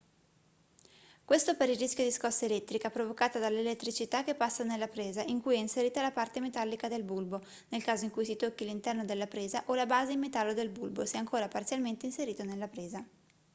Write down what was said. questo per il rischio di scossa elettrica provocata dall'elettricità che passa nella presa in cui è inserita la parte metallica del bulbo nel caso in cui si tocchi l'interno della presa o la base in metallo del bulbo se ancora parzialmente inserito nella presa